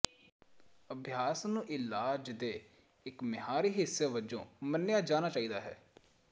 ਅਭਿਆਸ ਨੂੰ ਇਲਾਜ ਦੇ ਇੱਕ ਮਿਆਰੀ ਹਿੱਸੇ ਵਜੋਂ ਮੰਨਿਆ ਜਾਣਾ ਚਾਹੀਦਾ ਹੈ